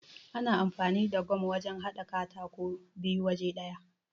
Ana amfani da gam wajan haɗa katako biyu waje ɗaya.